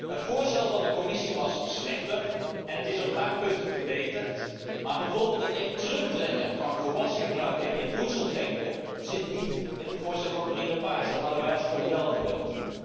Het voorstel van de Commissie was slechter en het is op een paar punten verbeterd, maar bijvoorbeeld het terugdringen van het gebruik van gewassen in voedseltanken zit niet in het voorstel van mevrouw Lepage. Dat hadden wij als Groenen wél gewild.